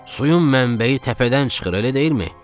Suyun mənbəyi təpədən çıxır, elə deyilmi?